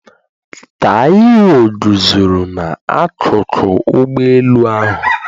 Taiwo guzoro n'akụkụ ụgbọ elu ahụ.